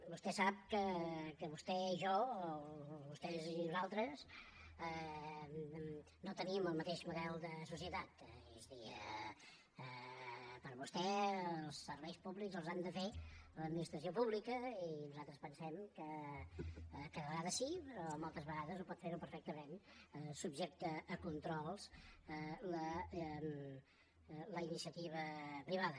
vostè sap que vostè i jo o vostès i nosaltres no tenim el mateix model de societat és a dir per vostè els serveis públics els ha de fer l’administració pública i nosaltres pensem que de vegades sí però moltes vegades ho pot fer perfectament subjecta a controls la iniciativa privada